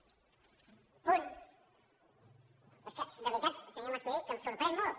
però és que de veritat senyor mas colell que em sorprèn molt